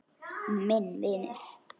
Minn vinur.